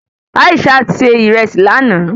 Aishat ṣe ìrẹsì lánàá